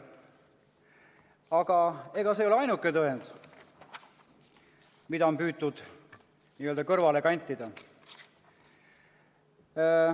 Aga ega see ei ole ainuke tõend, mida on püütud n-ö kõrvale kantida.